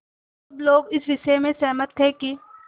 सब लोग इस विषय में सहमत थे कि